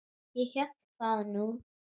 Ég hélt það nú.